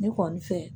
Ne kɔni fɛ